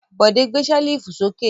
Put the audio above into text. Bọ̀dé gbé ṣẹ́lífù sókè.